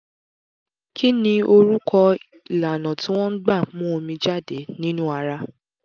kí ni orúkọ ìlànà tí wọ́n gbà ń mú omi jáde nínú ara?